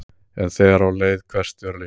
En þegar á leið hvessti örlítið.